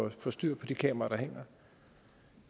at få styr på de kameraer